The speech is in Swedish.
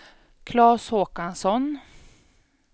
Claes Håkansson